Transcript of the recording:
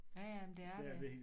Ja ja men det er det